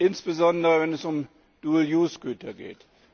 insbesondere wenn es um Güter geht.